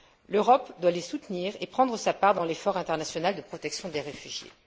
L'Europe doit les soutenir et prendre sa part dans l'effort international de protection des réfugiés.